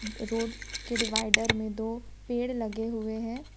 और रोड के डिवाइडर में दो पेड़ लगे हुए हैं।